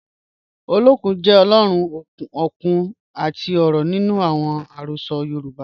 Ọlọ́kun jẹ́ Ọ̀lọ́run okun àti ọ̀rọ̀ nínu awọn ẹ̀rọsọ̀ Yorùbá